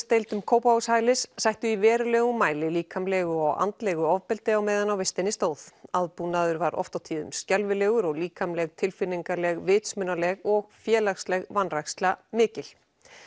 fullorðinsdeildum Kópavogshælis sættu í verulegum mæli líkamlegu og andlegu ofbeldi á meðan á vistinni stóð aðbúnaður var oft á tíðum skelfilegur og líkamleg tilfinningaleg vitsmunaleg og félagsleg vanræksla mikil